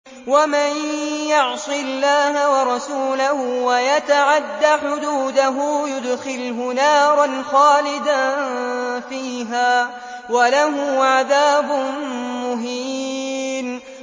وَمَن يَعْصِ اللَّهَ وَرَسُولَهُ وَيَتَعَدَّ حُدُودَهُ يُدْخِلْهُ نَارًا خَالِدًا فِيهَا وَلَهُ عَذَابٌ مُّهِينٌ